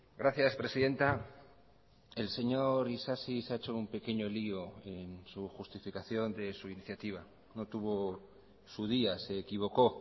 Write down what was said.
gracias presidenta el señor isasi se ha hecho un pequeño lío en su justificación de su iniciativa no tuvo su día se equivocó